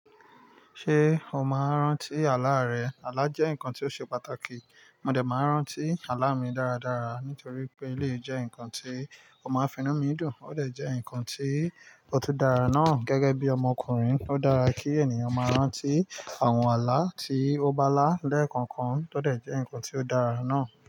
Ṣé o máa ń rántí àlá rẹ? Àlá jẹ́ nǹkan tí ó ṣe pàtàkì. Mo dè máa ń rántí àlá mi dáradára nítorí pé eleyii jẹ́ nǹkan tí ó máa ń finu mi dùn. Ó dè jẹ́ ǹnkan tí ó tú dára náà gẹ́gẹ́ bí ọmọkùnrin. Ó dára kí ènìyàn máa rántí àwọn àlá tí ó bá lá lẹ́ẹ̀kọ̀kan. Ó lè jẹ́ ǹkan tí ó dára náà.